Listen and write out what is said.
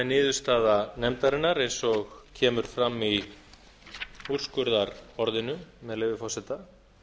niðurstaða nefndarinnar eins og kemur fram í úrskurðarorðinu með leyfi forseta